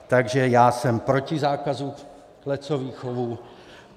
Takže já jsem proti zákazu klecových chovů.